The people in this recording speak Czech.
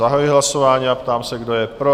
Zahajuji hlasování a ptám se, kdo je pro?